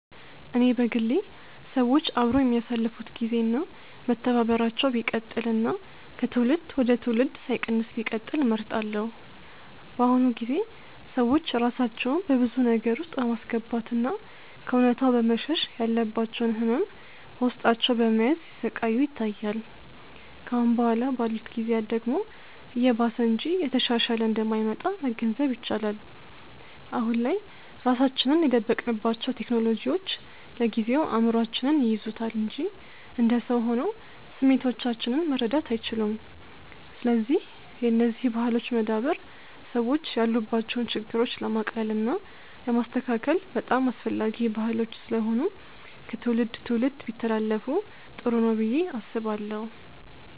እኔ በግሌ ሰዎች አብረው የሚያሳልፋት ግዜ እና መተባበራቸው ቢቀጥል እና ከትውልድ ወደ ትውልድ ሳይቀንስ ቢቀጥል እመርጣለሁ። በአሁኑ ጊዜ ሰዎች ራሳቸውን በብዙ ነገር ውስጥ በማስገባት እና ከእውነታው በመሸሽ ያለባቸውን ህመም በውስጣቸው በመያዝ ሲሰቃዩ ይታያል። ከአሁን በኋላ ባሉት ጊዜያት ደግሞ እየባሰ እንጂ እየተሻሻለ እንደማይመጣ መገንዘብ ይቻላል። አሁን ላይ ራሳችንን የደበቅንባቸው ቴክኖሎጂዎች ለጊዜው እይምሮአችንን ይይዙታል እንጂ እንደ ሰው ሆነው ስሜቶቻችንን መረዳት አይችሉም። ስለዚህ የነዚህ ባህሎች መዳበር ሰዎች ያሉባቸውን ችግሮች ለማቅለል እና ለማስተካከል በጣም አስፈላጊ ባህሎች ስለሆኑ ከትውልድ ትውልድ ቢተላለፋ ጥሩ ነው ብዬ አስባለሁ።